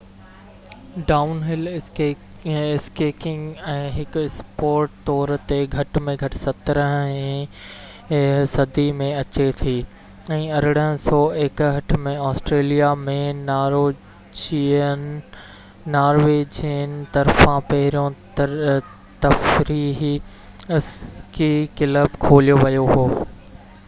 down ھل skiing هڪ sport طور تي گھٽ ۾ گھٽ 17 هين صدي ۾ اچي ٿي ۽ 1861 ۾ آسٽريليا ۾ نارويجين طرفان پهريون تفريحي اسڪي ڪلب کوليو ويو هو